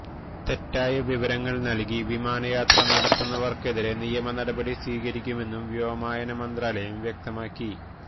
തെറ്റായ വിവരങ്ങള് നല്കി വിമാനയാത്ര നടത്തുന്നവര്ക്കെതിരെ നിയമ നടപടി സ്വീകരിക്കുമെന്നും വ്യോമയാന മന്ത്രാലയം വ്യക്തമാക്കി